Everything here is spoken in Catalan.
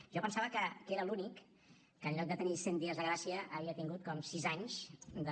jo pensava que era l’únic que en lloc de tenir cent dies de gràcia havia tingut com sis anys de